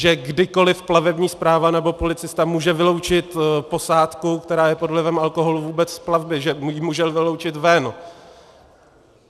Že kdykoliv plavební správa nebo policista může vyloučit posádku, která je pod vlivem alkoholu, vůbec z plavby, že ji může vyloučit ven.